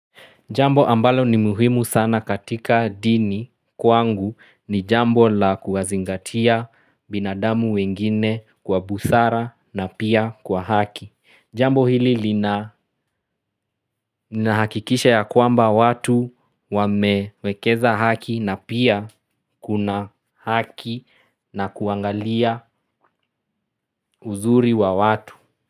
Jambo ambalo ni muhimu sana katika dini kwangu ni jambo la kuwazingatia binadamu wengine kwa busara na pia kwa haki. Jambo hili lina hakikisha ya kwamba watu wamewekeza haki na pia kuna haki na kuangalia uzuri wa watu.